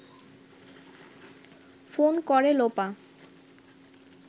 phone করে লোপা